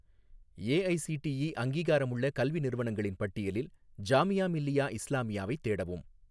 AICTE அங்கீகாரமுள்ள கல்வி நிறுவனங்களின் பட்டியலில் ஜாமியா மில்லியா இஸ்லாமியாவை தேடவும்